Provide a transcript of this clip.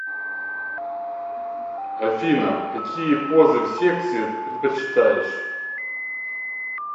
афина какие позы в сексе предпочитаешь